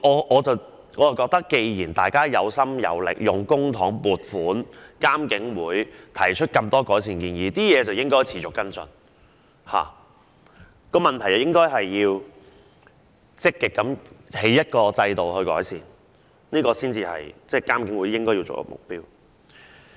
我認為既然大家有心有力，亦有公帑撥款，而監警會亦提出多項改善建議，便應持續跟進相關情況，亦應積極建立改善制度，才是監警會應有的目標。